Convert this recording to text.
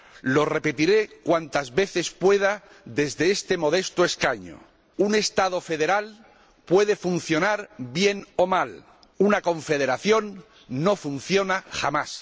Lo repetiré cuantas veces pueda desde este modesto escaño un Estado federal puede funcionar bien o mal, una Confederación no funciona jamás.